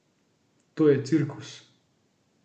To je cirkus!